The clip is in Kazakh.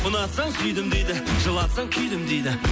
ұнатсаң сүйдім дейді жылатсаң күйдім дейді